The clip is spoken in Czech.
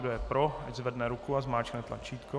Kdo je pro, ať zvedne ruku a zmáčkne tlačítko.